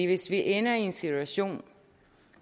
hvis vi ender i en situation